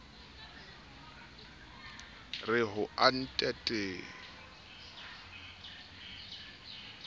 re ho ntatate ba ye